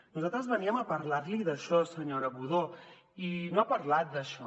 nosaltres veníem a parlar li d’això senyora budó i no ha parlat d’això